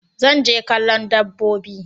Zan je kallo dabbobi.